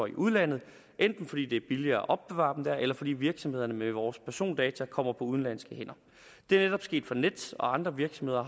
i udlandet enten fordi det er billigere at opbevare dem der eller fordi virksomhederne med vores persondata kommer på udenlandske hænder det er netop sket for nets og andre virksomheder